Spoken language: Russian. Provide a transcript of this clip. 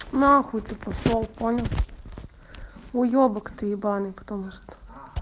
нахуй ты пошёл понял уебок ты ебаный потому что